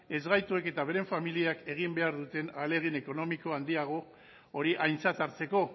ezgaituek eta beren familiak egin behar duten ahalegin ekonomiko handiago hori aintzat hartzeko